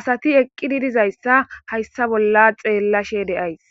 asayi eqidi dizaya hayisa bolla xelashe deyayisi